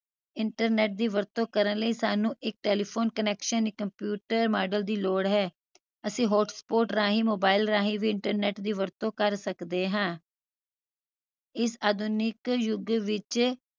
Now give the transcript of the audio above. internet ਦੀ ਵਰਤੋਂ ਕਰਨ ਲਈ ਸਾਨੂੰ ਇਕ telephone connection ਇਕ computer modem ਦੀ ਲੋੜ ਹੈ ਅਸੀਂ hotspot ਰਾਹੀਂ mobile ਰਾਹੀਂ ਵੀ internet ਦੀ ਵਰਤੋਂ ਕਰ ਸਕਦੇ ਹਾਂ ਇਸ ਆਧੁਨਿਕ ਯੁਗ ਵਿਚ